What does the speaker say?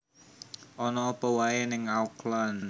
Ono opo wae ning Auckland?